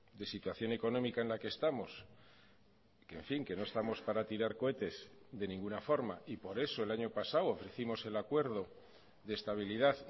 de situación económica en la que estamos que en fin que no estamos para tirar cohetes de ninguna forma y por eso el año pasado ofrecimos el acuerdo de estabilidad